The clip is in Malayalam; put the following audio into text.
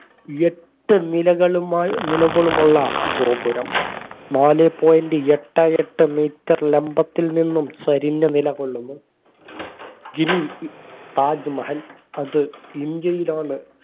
എട്ട് നിലകളുമാ നിലകൊള്ളുന്നുള്ള ഗോപുരം നാലെ point എട്ടേ എട്ട് metre ലംബത്തിൽ നിന്നും ചരിഞ്ഞ് നിലകൊള്ളുന്നു ഇനി താജ്മഹൽ അത് ഇന്ത്യയിലാണ്